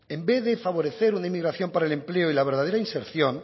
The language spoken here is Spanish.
en vez de favorecer una inmigración para el empleo y la verdadera inserción